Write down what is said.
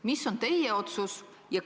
Milline on teie otsus?